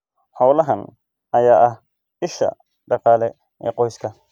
Xoolahan ayaa ah isha dhaqaale ee qoyska.